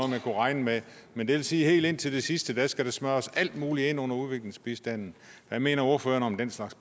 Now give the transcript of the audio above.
man kunne regne med men det vil sige at helt indtil det sidste skal der smøres alt muligt ind under ulandsbistanden hvad mener ordføreren om den slags